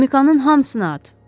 Pemikanın hamısını at.